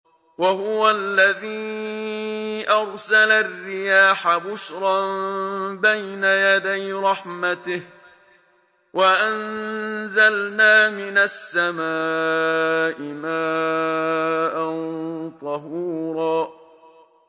وَهُوَ الَّذِي أَرْسَلَ الرِّيَاحَ بُشْرًا بَيْنَ يَدَيْ رَحْمَتِهِ ۚ وَأَنزَلْنَا مِنَ السَّمَاءِ مَاءً طَهُورًا